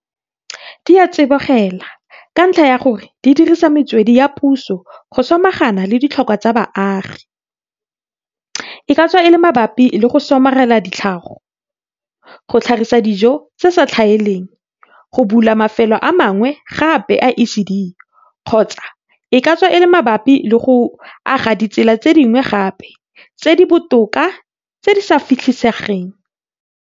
Di a tsibogela, ka ntlha ya gore di dirisa metswedi ya puso go samagana le ditlhokwa tsa baagi, e ka tswa e le mabapi le go somarela tlhago, go tlhagisa dijo tse di sa tlhaeleng, go bula mafelo a mangwe gape a ECD, kgotsa e ka tswa e le mabapi le go aga ditsela tse dingwe gape tse di botoka tse di fitlhelesegang.